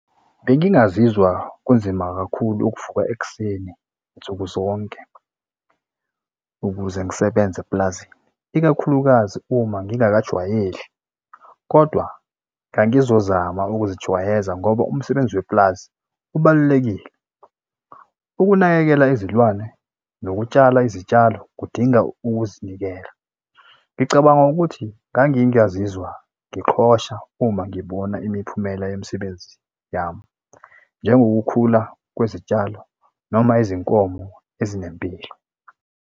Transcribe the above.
Bengingazizwa kunzima kakhulu ukuvuka ekuseni nsuku zonke ukuze ngisebenze epulazini, ikakhulukazi uma ngingakajwayeli, kodwa ngangizozama ukuzijwayeza ngoba umsebenzi wepulazi ubalulekile. Ukunakekela izilwane nokutshala izitshalo kudinga ukuzinikela. Ngicabanga ukuthi ngangingazizwa ngiqhosha uma ngibona imiphumela yemisebenzi yami. Njengokukhula kwezitshalo noma izinkomo ezinempilo.